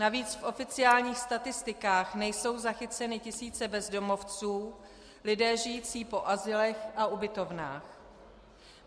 Navíc v oficiálních statistikách nejsou zachyceny tisíce bezdomovců, lidé žijící po azylech a ubytovnách.